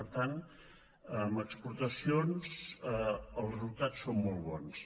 per tant en exportacions els resultats són molt bons